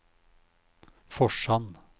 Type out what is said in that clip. Forsand